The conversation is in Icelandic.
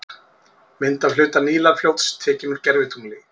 Mynd af hluta Nílarfljóts, tekin úr gervitungli.